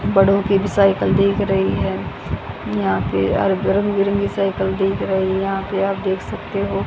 बड़ों की भी साइकिल दिख रही है यहां पे अर रंग बिरंगी साइकिल दिख रही यहां पे आप देख सकते हो--